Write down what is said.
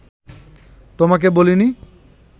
তোমাকে বলিনি